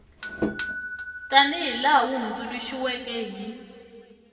tanihi laha wu hundzuluxiweke hi